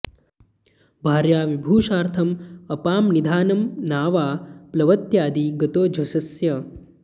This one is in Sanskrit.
भार्या विभूषार्थम् अपां निधानं नावा प्लवत्यादि गतो झषस्य